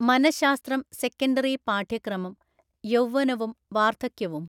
മനഃശാസ്ത്രം സെക്കണ്ടറി പാഠ്യക്രമം, യൗവനവും വാർദ്ധക്യവും